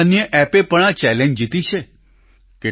કેટલીયે અન્ય એપ એ પણ આ ચેલેન્જ જીતી છે